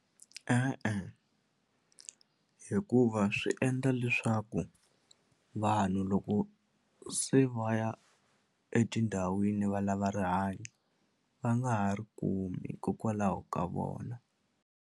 E-e, hikuva swi endla leswaku vanhu loko se va ya etindhawini valava rihanyo va nga ha ri kumi hikokwalaho ka vona.